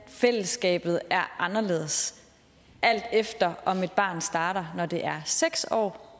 fællesskabet er anderledes alt efter om et barn starter når det er seks år